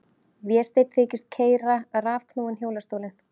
Vésteinn þykist keyra rafknúinn hjólastólinn.